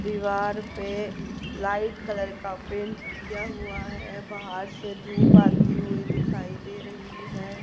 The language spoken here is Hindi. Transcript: दीवार पे लाइट कलर का पेंट किया हुआ है बाहर से धूप आई हुई दिखाई दे रही है।